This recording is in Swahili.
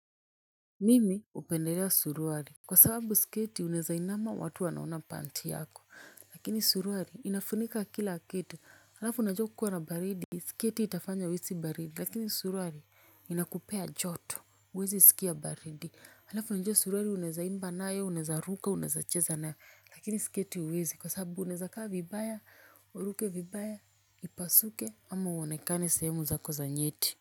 Mimi hupendelea suruali. Kwa sababu sketi unaweza inama watu wanaona panti yako lakini suruali inafunika kila kitu halafu unajuwa kukiwa na baridi sketi itafanya uhisi baridi lakini suruali inakupea joto huwezi sikia baridi. Halafu unajuwa suruali unaweza imba nayo unaweza ruka unaweza cheza nayo lakini sketi huwezi kwa sababu unaweza kaa vibaya uruke vibaya ipasuke ama uonekane sehemu zako za nyeti.